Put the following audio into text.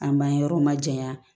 An m'an yɔrɔ majanya